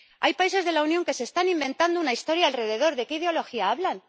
Hay países de la Unión que se están inventando una historia alrededor. ¿De qué ideología hablan?